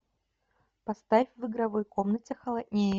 поставь в игровой комнате холоднее